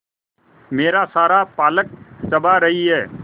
मेरा सारा पालक चबा रही है